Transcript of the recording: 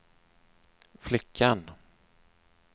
flickan